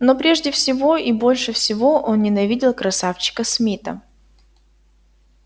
но прежде всего и больше всего он ненавидел красавчика смита